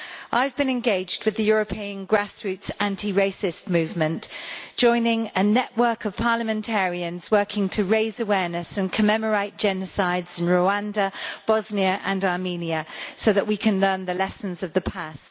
I have been engaged with the European Grassroots Antiracist Movement, joining a network of parliamentarians working to raise awareness and commemorate genocides in Rwanda, Bosnia and Armenia so that we can learn the lessons of the past.